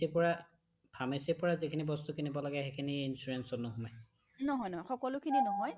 pharmacy পৰা, pharmacyৰ পৰা যিখিনি বস্তু কিনিব লাগে সেইখিনি বস্তু insurance ত নোসোমাই নহয় নহয় সকলোখিনি নহয়